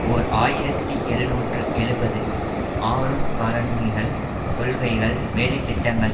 ஓர் ஆயிரத்தி எழுநூற்று எழுபது ஆறுன் காலனிகள் கொள்கைகள் வேலைத்திட்டங்கள்